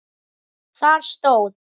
Þar stóð